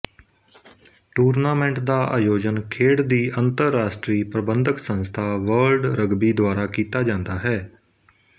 tournament ਦਾ ਆਯੋਜਨ ਖੇਡ ਦੀ ਅੰਤਰਰਾਸ਼ਟਰੀ ਪ੍ਰਬੰਧਕ ਸੰਸਥਾ ਵਰਲਡ ਰਗਬੀ ਦੁਆਰਾ ਕੀਤਾ ਜਾਂਦਾ ਹੈ